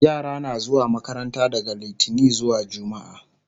yara na zuwa makaranta daga littani zuwa jumma'a